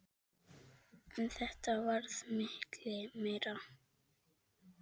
En þetta varð miklu meira.